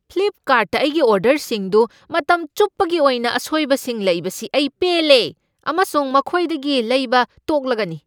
ꯐ꯭ꯂꯤꯞꯀꯥꯔꯠꯇ ꯑꯩꯒꯤ ꯑꯣꯔꯗꯔꯁꯤꯡꯗꯨ ꯃꯇꯝ ꯆꯨꯞꯄꯒꯤ ꯑꯣꯏꯅ ꯑꯁꯣꯏꯕꯁꯤꯡ ꯂꯩꯕꯁꯤ ꯑꯩ ꯄꯦꯜꯂꯦ ꯑꯃꯁꯨꯡ ꯃꯈꯣꯏꯗꯒꯤ ꯂꯩꯕ ꯇꯣꯛꯂꯒꯅꯤ꯫